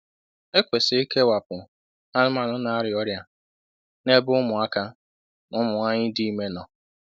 E kwesịrị ikewapụ anụmanụ na-arịa ọrịa na-ebe ụmụaka na ụmụ nwanyị dị ime nọ.